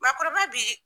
Maakɔrɔba bi